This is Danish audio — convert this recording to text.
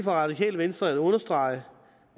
radikale venstre at understrege